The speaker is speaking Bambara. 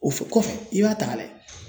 O f kɔfɛ i b'a ta ka lajɛ